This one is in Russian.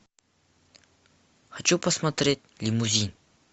хочу посмотреть лимузин